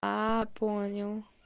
а понял